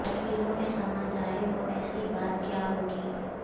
لکیروں میں سما جائے وہ ایسی بات کیا ہوگی